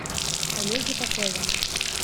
олеге попове